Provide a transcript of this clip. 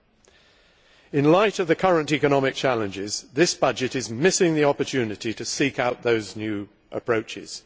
Against the backdrop of the current economic challenges, this budget is missing the opportunity to seek out those new approaches.